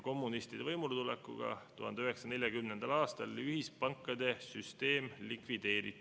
Kommunistide võimuletulekuga 1940. aastal ühispankade süsteem likvideeriti.